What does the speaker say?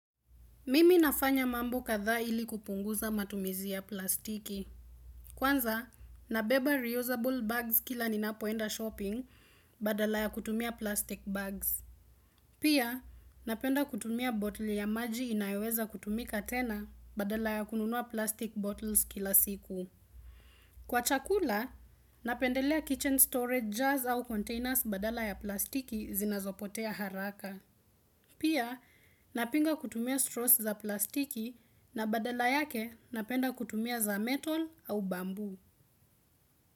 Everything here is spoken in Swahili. Mimi nafanya mambo kadhaa ili kupunguza matumizi ya plastiki. Kwanza, nabeba reusable bags kila ninapoenda shopping badala ya kutumia plastic bags. Pia, napenda kutumia botle ya maji inayoweza kutumika tena badala ya kununua plastic bottles kila siku. Kwa chakula, napendelea kitchen storage jars au containers badala ya plastiki zinazopotea haraka. Pia napinga kutumia straws za plastiki na badela yake napenda kutumia za metal au bamboo.